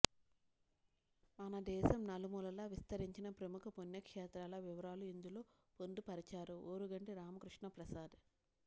మనదేశం నలుమూలలా విస్తరించిన ప్రముఖ పుణ్యక్షేత్రాల వివరాలు ఇందులో పొందుపరచారు ఓరుగంటి రామకృష్ణప్రసాద్